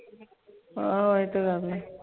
ਹਾਂ ਆਯ ਤੇ ਗੱਲ ਹੈ